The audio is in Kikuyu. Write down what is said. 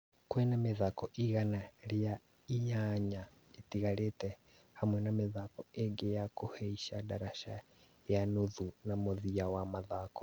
Kwĩna mĩthako igana rĩa inyanya ĩtigarĩte, hamwe na mĩthako ĩngĩ ya kuhaica ndarasha ya nuthu na mũthia wa mathako